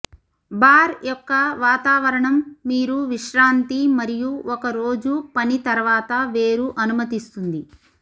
bar యొక్క వాతావరణం మీరు విశ్రాంతి మరియు ఒక రోజు పని తర్వాత వేరు అనుమతిస్తుంది